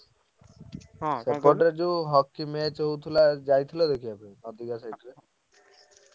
ସେପଟରେ ଯୋଉ hockey match ହଉଥିଲା ଯାଇଥିଲ ଦେଖିବା ପାଇଁ side ରେ?